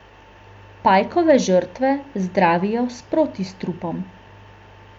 Pajkove žrtve zdravijo s protistrupom.